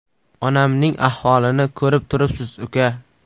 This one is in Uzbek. Onamning ahvolini ko‘rib turibsiz uka.